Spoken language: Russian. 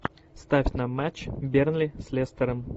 ставь на матч бернли с лестером